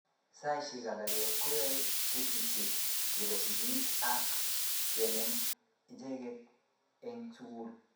Saishek alage koyoei kasishek chebo sigiik ak kenem ichek eng sukul